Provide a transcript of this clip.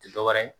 Ti dɔwɛrɛ ye